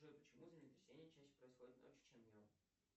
джой почему землетрясения чаще происходят ночью чем днем